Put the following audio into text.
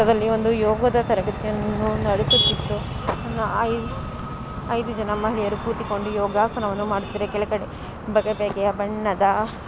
ಈ ಚಿತ್ರದಲ್ಲಿ ಒಂದು ಯೋಗದ ತರಬೇತಿಯನ್ನು ನಡೆಸುತ್ತಿದ್ದು ಐದು ಜನ ಮಹಿಳೆಯರು ಕೂತುಕೊಂಡು ಯೋಗಾಸನವನ್ನು ಮಾಡುತ್ತಿದ್ಧಾರೆ. ಕೆಳಗಡೆ ಬಗೆಬಗೆಯ ಬಣ್ಣದ--